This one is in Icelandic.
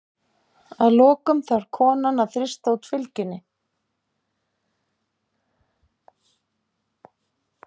Að lokum þarf konan að þrýsta út fylgjunni.